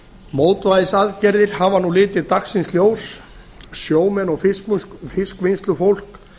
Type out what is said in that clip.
mótvægisaðgerðir hafa nú litið dagsins ljós sjómenn og fiskvinnslufólk